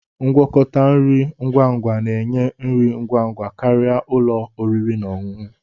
Ngwakọta nri ngwa ngwa na-enye nri ngwa ngwa karịa ụlọ oriri na ọṅụṅụ